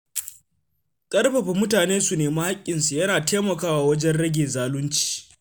Ƙarfafa mutane su nemi haƙƙinsu yana taimakawa wajen rage zalunci.